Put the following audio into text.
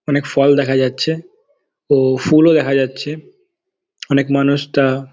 অনেক ফল দেখা যাচ্ছে ও ফুলও দেখা যাচ্ছে | অনেক মানুষ তা--